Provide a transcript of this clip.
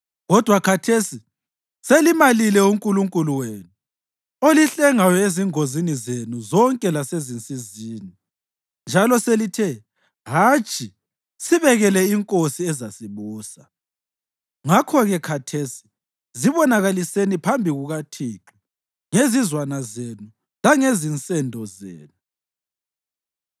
Kodwa khathesi selimalile uNkulunkulu wenu, olihlengayo ezingozini zenu zonke lasezinsizini. Njalo selithe, ‘Hatshi, sibekele inkosi ezasibusa.’ Ngakho-ke khathesi zibonakaliseni phambi kukaThixo ngezizwana zenu langezinsendo zenu.”